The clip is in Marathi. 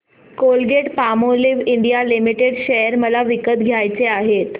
कोलगेटपामोलिव्ह इंडिया लिमिटेड शेअर मला विकत घ्यायचे आहेत